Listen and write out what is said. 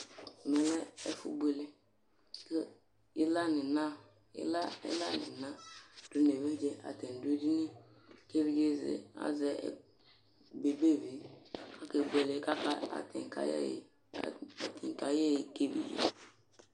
ɛmɛ lɛ ɛfu boele ko ila n'ina do n'evidze atani do edini ko evidze azɛ bebevi akebuele ko aka atani ka yɛ ɛyi ka evidze